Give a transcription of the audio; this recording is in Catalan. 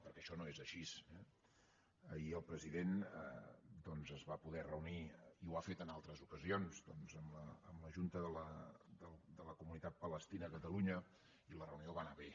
perquè això no és així eh ahir el president es va poder reunir i ho ha fet en altres ocasions amb la junta de la comunitat palestina a catalunya i la reunió va anar bé